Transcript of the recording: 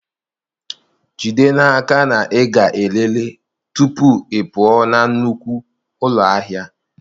Jide n'aka na ị ga-elele tupu ị pụọ na nnukwu ụlọ ahịa.